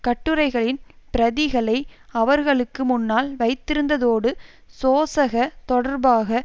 கட்டுரைகளின் பிரதிகளை அவர்களுக்கு முன்னால் வைத்திருந்ததோடு சோசக தொடர்பாக